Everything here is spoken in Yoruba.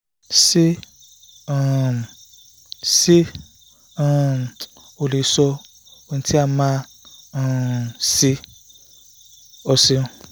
se um se um o le so um ohun ti ma a um se? o seun